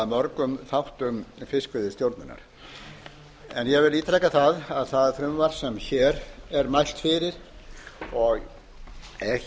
mörgum þáttum fiskveiðistjórnar ég vil ítreka að það frumvarp sem hér mælt fyrir og er